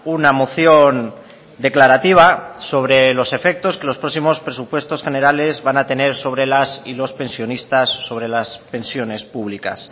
una moción declarativa sobre los efectos que los próximos presupuesto generales van a tener sobre los y las pensionistas sobre las pensiones públicas